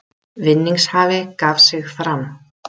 Vinningshafi gaf sig fram